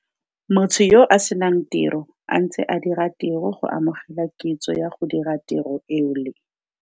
Motho yo a se nang tiro a ntse a dira tiro go amogela kitso ya go dira tiro eo le.